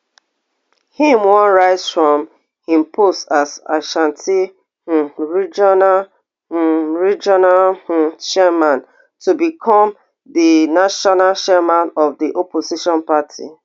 im wan rise from im post as ashanti um regional um regional um chairman to become di national chairman of di opposition party